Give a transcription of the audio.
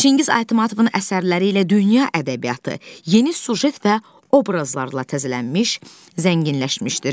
Çingiz Aytmatovun əsərləri ilə dünya ədəbiyyatı yeni süjet və obrazlarla təzələnmiş, zənginləşmişdir.